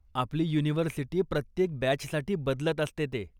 आपली युनिव्हर्सिटी प्रत्येक बॅचसाठी बदलत असते ते.